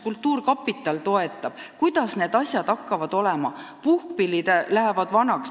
Kas kultuurkapital toetab ja kuidas üldse need asjad hakkavad olema?